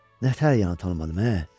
"Nətər yəni tanımadım, ə?